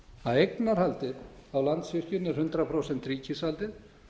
að eignarhaldið á landsvirkjun er hundrað prósent ríkisvaldið